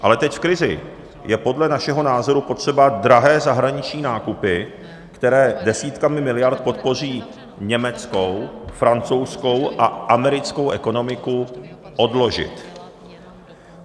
Ale teď v krizi je podle našeho názoru potřeba drahé zahraniční nákupy, které desítkami miliard podpoří německou, francouzskou a americkou ekonomiku, odložit.